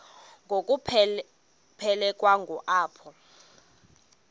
ngokuphelekwa ngu apho